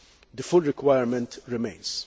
The full requirement remains.